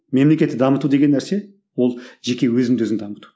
мемлекетті дамыту деген нәрсе ол жеке өзіңді өзің дамыту